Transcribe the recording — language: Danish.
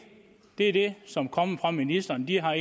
det er det som kommer fra ministrene de har